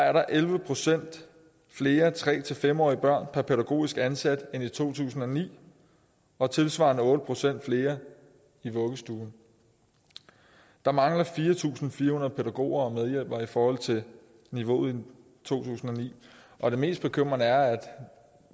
er der elleve procent flere tre fem årige børn per pædagogisk ansat end i to tusind og ni og tilsvarende otte procent flere i vuggestuen der mangler fire tusind fire hundrede pædagoger og medhjælpere i forhold til niveauet i to tusind og ni og det mest bekymrende er at